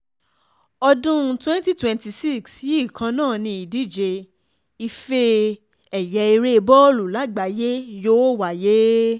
ọdún 2026 yìí kan náà ni ìdíje ife ẹ̀yẹ ère bọ́ọ̀lù lágbàáyé yóò wáyé